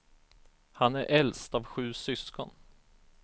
Han är äldst av sju syskon.